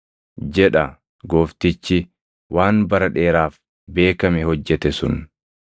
jedha Gooftichi waan bara dheeraaf beekame hojjete sun.